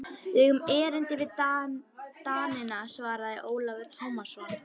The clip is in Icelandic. Við eigum erindi við Danina, svaraði Ólafur Tómasson.